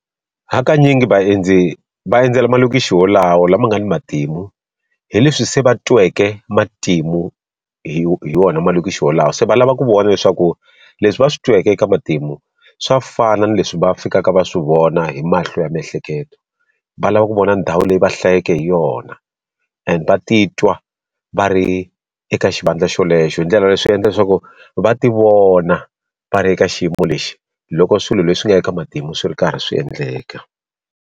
Hakanyingi vaendzi va endzela malokixi wolawa lama nga ni matimu hi leswi se va tweke matimu hi wona malokixi wo lawa se va lava ku vona leswaku leswi va swi tweke eka matimu swa fana ni leswi va fikaka va swi vona hi mahlo ya miehleketo va lava ku vona ndhawu leyi va hlayeke hi yona and va titwa va ri eka xivandla xolexo hi ndlela leswi endla leswaku va ti vona va ri eka xiyimo lexi loko swilo leswi nga eka matimu swi ri karhi swi endleka.